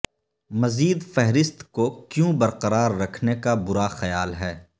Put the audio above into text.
مزید فہرست کو کیوں برقرار رکھنے کا برا خیال ہے